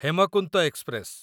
Hemkunt express